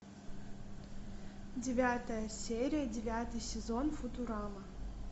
девятая серия девятый сезон футурама